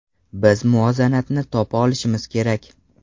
Biz muvozanatni topa olishimiz kerak.